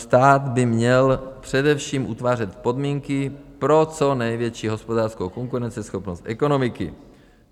Stát by měl především utvářet podmínky pro co největší hospodářskou konkurenceschopnost ekonomiky.